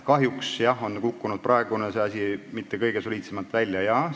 Kahjuks ei ole see asi praegu mitte kõige soliidsemalt välja kukkunud.